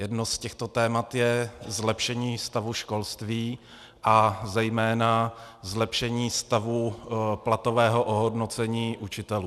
Jedno z těchto témat je zlepšení stavu školství a zejména zlepšení stavu platového ohodnocení učitelů.